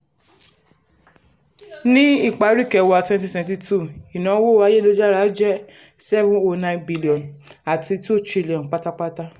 ní ipari kẹwàá twenty twenty two ìnáwó ayélujára jẹ́ n seven hundred nine billion àti n two trillion pátápátá.